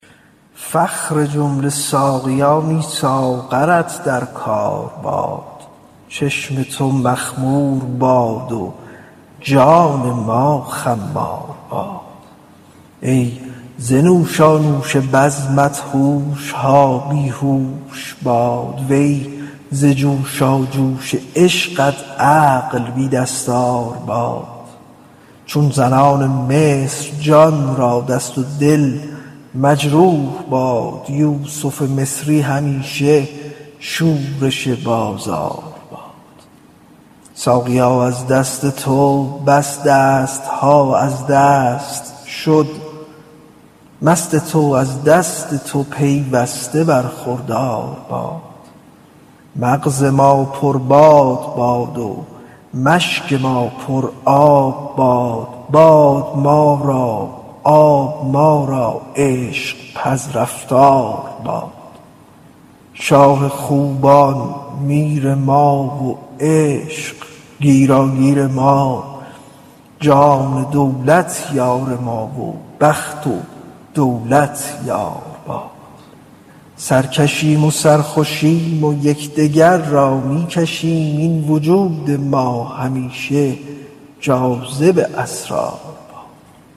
فخر جمله ساقیانی ساغرت در کار باد چشم تو مخمور باد و جان ما خمار باد ای ز نوشانوش بزمت هوش ها بی هوش باد وی ز جوشاجوش عشقت عقل بی دستار باد چون زنان مصر جان را دست و دل مجروح باد یوسف مصری همیشه شورش بازار باد ساقیا از دست تو بس دست ها از دست شد مست تو از دست تو پیوسته برخوردار باد مغز ما پرباد باد و مشک ما پرآب باد باد ما را و آب ما را عشق پذرفتار باد شاه خوبان میر ما و عشق گیراگیر ما جان دولت یار ما و بخت و دولت یار باد سرکشیم و سرخوشیم و یک دگر را می کشیم این وجود ما همیشه جاذب اسرار باد